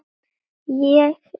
Ég er ljónið.